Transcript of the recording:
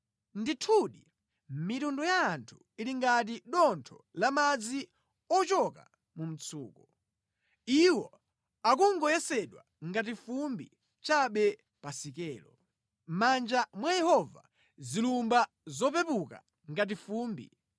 Ndithudi mitundu ya anthu ili ngati dontho la madzi ochoka mu mtsuko. Iwo akungoyesedwa ngati fumbi chabe pa sikelo; mʼmanja mwa Yehova zilumba nʼzopepuka ngati fumbi.